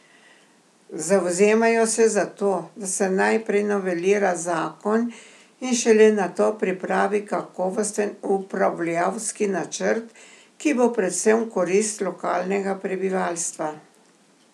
Zavzemajo se za to, da se najprej novelira zakon in šele nato pripravi kakovosten upravljavski načrt, ki bo predvsem v korist lokalnega prebivalstva.